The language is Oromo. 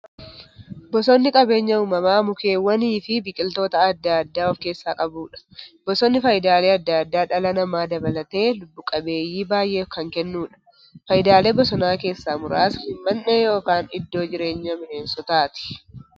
Bosonni qabeenya uumamaa mukkeewwaniifi biqiltoota adda addaa of keessaa qabudha. Bosonni faayidaalee adda addaa dhala namaa dabalatee lubbuu qabeeyyii baay'eef kan kennuudha. Faayidaalee bosonaa keessaa muraasni; Mandhee yookiin iddoo jireenya bineensotaati.